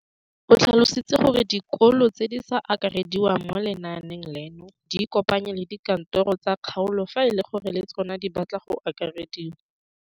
O tlhalositse gore dikolo tse di sa akarediwang mo lenaaneng leno di ikopanye le dikantoro tsa kgaolo fa e le gore le tsona di batla go akarediwa.